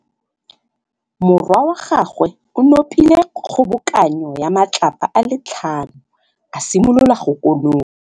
Morwa wa gagwe o nopile kgobokanô ya matlapa a le tlhano, a simolola go konopa.